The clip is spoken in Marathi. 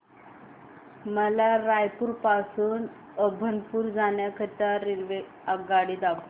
मला रायपुर पासून अभनपुर जाण्या करीता आगगाडी दाखवा